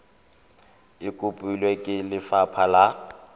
e kopilwe ke lefapha la